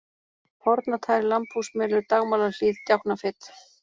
Hornatær, Lambhúsmelur, Dagmálahlíð, Djáknafit